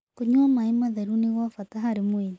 Kũnyua mae matherũ nĩ gwa bata harĩ mwĩrĩ